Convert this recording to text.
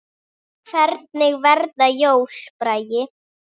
Hvernig verða jólin, Bragi?